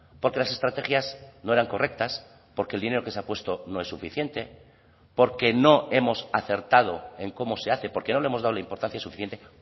porque las estrategias no eran correctas porque el dinero que se ha puesto no es suficiente porque no hemos acertado en cómo se hace porque no le hemos dado la importancia suficiente